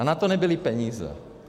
A na to nebyly peníze.